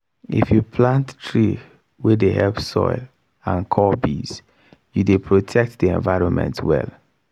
if you plant tree wey dey help soil and call bees you dey protect the environment well